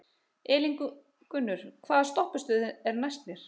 Elíngunnur, hvaða stoppistöð er næst mér?